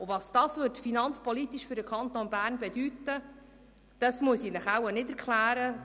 Was dies finanzpolitisch für den Kanton Bern bedeuten würde, muss ich Ihnen wohl nicht erklären.